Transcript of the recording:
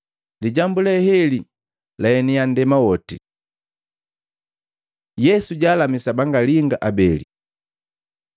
Lijambu leheli laeniya nndema woti. Yesu jaalamisa bangalinga abele